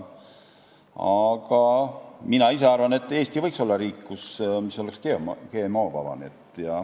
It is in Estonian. Aga mina ise arvan, et Eesti võiks olla riik, mis oleks GMO-vaba.